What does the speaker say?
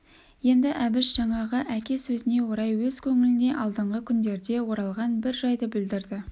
енді әбіш жаңағы әке сөзіне орай өз көңіліне алдыңғы күндерде оралған бір жайды білдірді